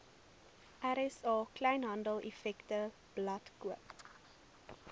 rsa kleinhandeleffektewebblad koop